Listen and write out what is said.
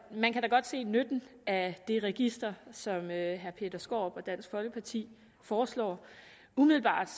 man kan da godt se nytten af det register som herre peter skaarup og dansk folkeparti foreslår umiddelbart